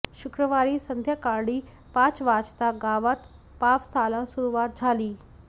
शुक्रवारी संध्याकाळी पाच वाजता गावात पावसाला सुरुवात झाली